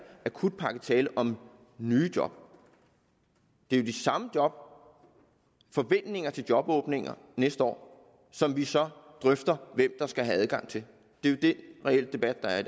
akutpakke tale om nye job det er de samme job og forventninger til jobåbninger næste år som vi så drøfter hvem der skal have adgang til det er den reelle debat der